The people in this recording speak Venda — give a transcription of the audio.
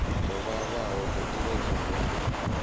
dzo vhalaho dzo iledzwaho u